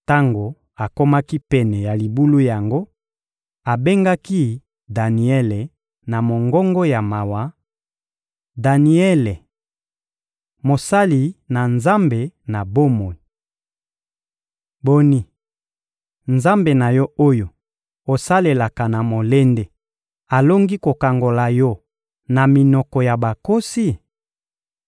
Tango akomaki pene ya libulu yango, abengaki Daniele na mongongo ya mawa: — Daniele, mosali na Nzambe na bomoi! Boni, Nzambe na yo, oyo osalelaka na molende, alongi kokangola yo na minoko ya bankosi?